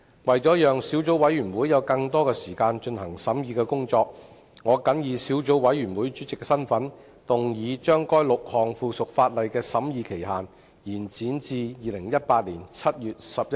為了讓小組委員會有更多時間進行審議工作，我謹以小組委員會主席的身份，動議將該6項附屬法例的審議期限，延展至2018年7月11日。